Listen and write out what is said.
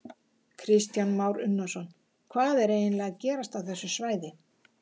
Kristján Már Unnarsson: Hvað er eiginlega að gerast á þessu svæði?